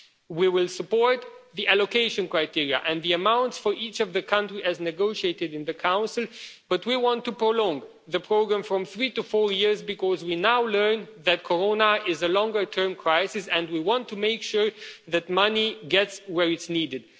We will support the allocation criteria and the amounts for each of the countries as negotiated in the Council, but we want to prolong the programme from three to four years because we now learn that Corona is a longer-term crisis, and we want to make sure that money gets where it's needed.